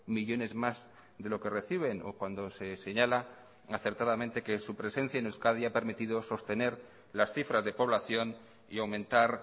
millónes más de lo que reciben o cuando se señala acertadamente que su presencia en euskadi ha permitido sostener las cifras de población y aumentar